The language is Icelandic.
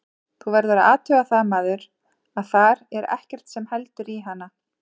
Þú verður að athuga það maður, að þar er ekkert sem heldur í hana.